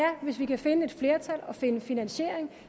hvis vi kan finde et flertal og finde finansiering